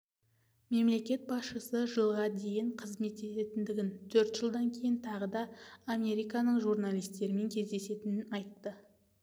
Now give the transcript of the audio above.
мемлекет басшысы жылға дейін қызмет ететіндігін төрт жылдан кейін тағы да американың журналистерімен кездесетінін айтты